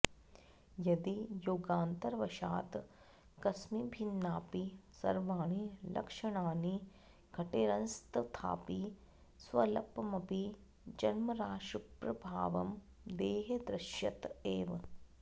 यदि योगान्तरवशात् कस्मिभिन्नापि सर्वाणि लक्षणानि घटेरंस्तथापि स्वल्पमपि जन्मराशिप्रभावं देहे दृश्यत एव